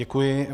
Děkuji.